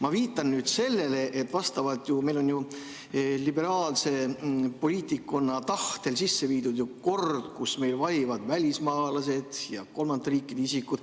Ma viitan sellele, et meil on liberaalse poliitikkonna tahtel viidud sisse kord, kus valivad ka välismaalased ja kolmandate riikide isikud.